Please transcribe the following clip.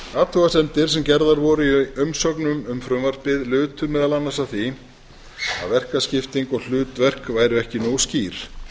athugasemdir sem gerðar voru í umsögnum um frumvarpið lutu meðal annars að því að verkaskipting og hlutverk væru ekki nógu skýr